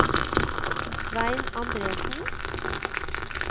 Svein Anderssen